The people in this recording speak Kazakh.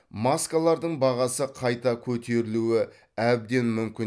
маскалардың бағасы қайта көтерілуі әбден мүмкін